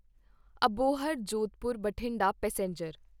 Abohar Jodhpur Bathinda passenger